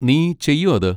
നീ ചെയ്യോ അത്?